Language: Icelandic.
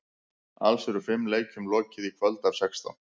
Alls eru fimm leikjum lokið í kvöld af sextán.